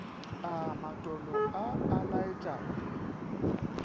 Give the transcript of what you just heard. a matolo a a laetšago